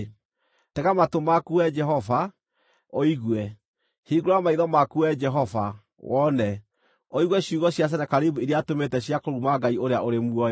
Tega matũ maku Wee Jehova, ũigue; hingũra maitho maku Wee Jehova, wone; ũigue ciugo cia Senakeribu iria atũmĩte cia kũruma Ngai ũrĩa ũrĩ muoyo.